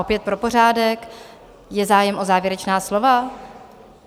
Opět pro pořádek - je zájem o závěrečná slova?